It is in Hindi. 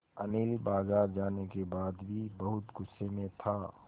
अनिल बाज़ार जाने के बाद भी बहुत गु़स्से में था